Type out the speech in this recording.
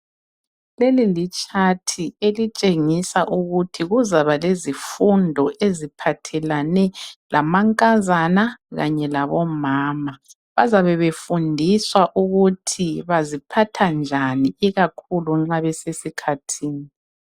Lelilitshathi elitshengisa ukuthi kuzaba lezifundo eziphathelane lamankazana Kanye labomama .Bazabe befundiswa ukuthi baziphatha njani ikakhulu nxa besesikhathini .